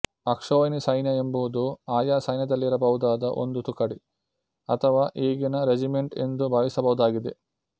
ಅಕ್ಷೋಹಿಣಿ ಸೈನ್ಯ ಎಂಬುದು ಆಯಾ ಸೈನ್ಯದಲ್ಲಿರಬಹುದಾದ ಒಂದು ತುಕಡಿ ಅಥವಾ ಈಗಿನ ರೆಜಿಮೆಂಟ್ ಎಂದೂ ಭಾವಿಸಬಹುದಾಗಿದೆ